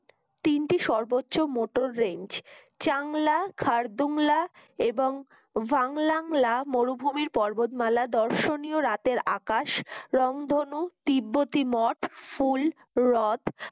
তিনটি সর্বোচ্চ Motor range Changla Khardungla এবং ভান লাংলা মরুভূমির পর্বতমালা দর্শনীয় রাতের আকাশ রামধনু তিব্বতি মঠ ফুল ও রদ